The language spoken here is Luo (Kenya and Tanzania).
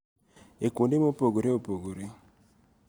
E kuonde mopogore opogore.